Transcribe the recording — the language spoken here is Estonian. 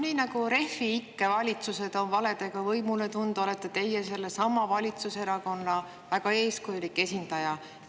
Nii nagu Refi ikke valitsused on valedega võimule tulnud, olete teie sellesama valitsuserakonna väga eeskujulik esindaja.